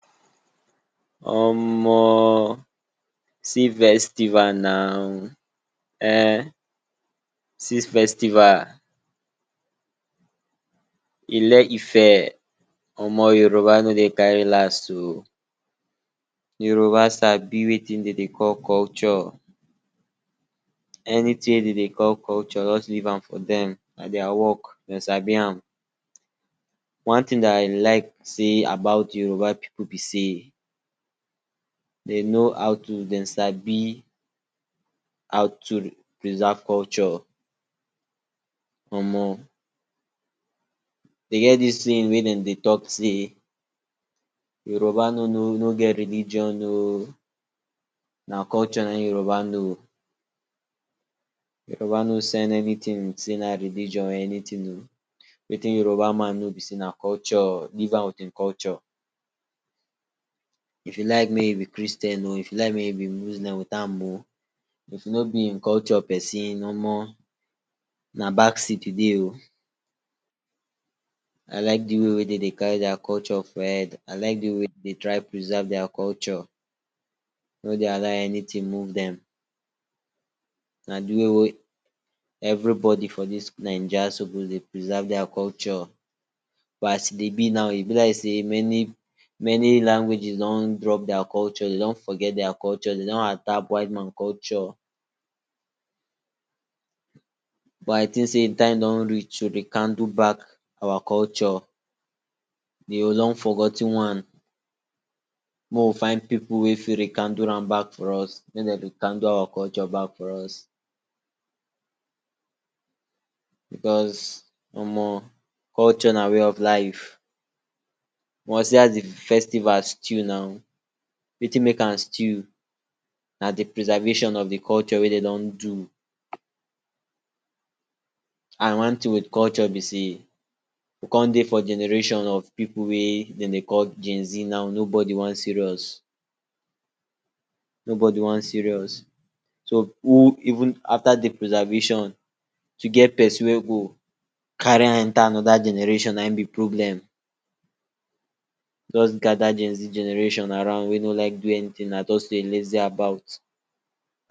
Omo, see festival na um see festival Ile-Ife! Omo Yoruba no dey carry last oh! Yoruba Sabi wetin dem dey call culture. anyting wey dem dey call culture just leave am for dem. na dia work dem sabi am. one ting dat I like say about yoruba pipu be sey, dem know how to dem sabi how to preserve culture. omo dey get dis ting wey dem dey talk say “Yoruba no no get religion oh na culture na im Yoruba know” Yoruba no send anyting sey na religion anyting. wetin Yoruba man know be seay na culture; leave am with im culture. e be like make he be Christian oh if he like make im be Muslim, if he no be im culture person omo na back seat you dey. i like de way dem dey carry dia culture for head. I like de way dem dey try preserve dia culture. dey no dey allow anyting move dem. na de way wey everybody for dis Naija suppose dey preserve dia culture, but as e dey be now, e be like say many many languages done drop dia culture. dey don forget dia culture dey don adapt white man culture but I think sey time don reach to rekindle back our culture. de long forgot ten one make we find pipu wey fit rekindle am back for us make dem rekindle our culture back for us because omo culture na way of life. see as de festival stew now wetin make am stew na de preservation of de culture wey dey don do and one ting with culture be sey you come dey for generation of pipu wey dey dey call gen zee now nobody wan serious nobody wan serious so even after de preservation to get person wey go carry am enter anoda generation na im be problem. just gada gen zee generation around wey no like do anyting na just dey lazy about.